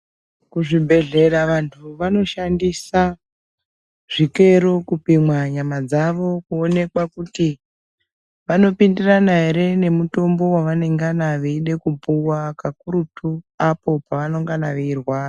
Ku zvibhedhlera vantu vano shandisa zvikero kupima nyama dzavo kuonekwa kuti vano pindirana ere ne mutombo wavanengana veide kupuwa kakurutu apo pavanongana vei rwara.